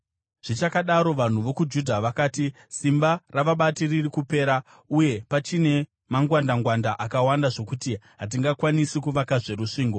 Zvichakadaro, vanhu vokwaJudha vakati, “Simba ravabati riri kupera, uye pachine mangwandangwanda akawanda zvokuti hatingakwanisi kuvakazve rusvingo.”